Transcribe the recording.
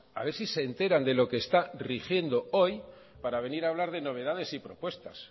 a ver si se enteran de lo que está rigiendo hoy para venir a hablar de novedades y propuestas